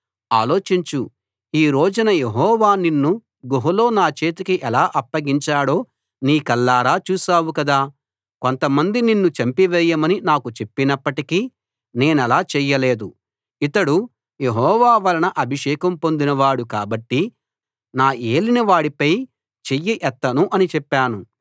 ఆలోచించు ఈ రోజున యెహోవా నిన్ను గుహలో నా చేతికి ఎలా అప్పగించాడో నీ కళ్ళారా చూశావు కదా కొంతమంది నిన్ను చంపేయమని నాకు చెప్పినప్పటికీ నేనలా చెయ్యలేదు ఇతడు యెహోవా వలన అభిషేకం పొందిన వాడు కాబట్టి నా ఏలినవాడిపై చెయ్యి ఎత్తను అని చెప్పాను